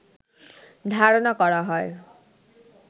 ধারণা করা হয়